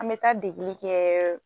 An be taa degeli kɛɛ